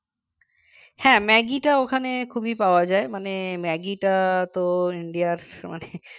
হ্যাঁ, ম্যাগিটা ওখানে খুবই পাওয়া যায় মানে ম্যাগিটা তো India র মানে